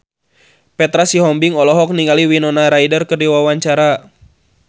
Petra Sihombing olohok ningali Winona Ryder keur diwawancara